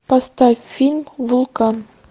поставь фильм вулкан